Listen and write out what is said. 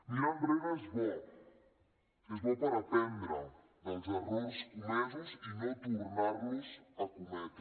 mirar enrere és bo és bo per aprendre dels errors comesos i no tornar los a cometre